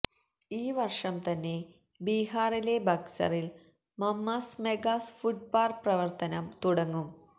ഈ വര്ഷം തന്നെ ബീഹാറിലെ ബക്സറില് മമ്മ്സ് മെഗാ ഫുഡ് പാര്ക്ക് പ്രവര്ത്തനം തുടങ്ങും